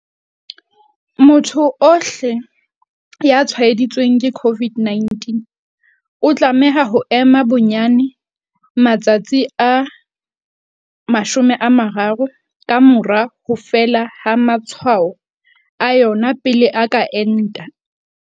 Motho ohle ya tshwaeditsweng ke COVID-19 o tlameha ho ema bonyane matsatsi a 30 ka mora ho fela ha matshwao a yona pele a ka enta.